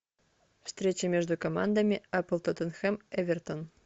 встреча между командами апл тоттенхэм эвертон